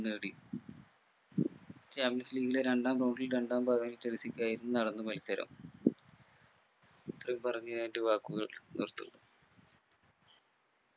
നേടി champions league ലെ രണ്ടാം ground ൽ രണ്ടാം ഭാഗം ചെൽസിക്കായിരുന്നു നടന്ന മത്സരം. ഇത്രയും പറഞ്ഞു ഞാൻ എന്റെ വാക്കുകൾ നിർത്തുന്നു